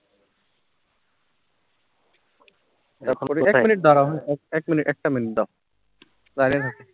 এক minute দাড়াও, এক minute, একটা minute দাও